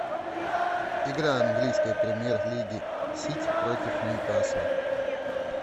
игра английской премьер лиги сити против ньюкасла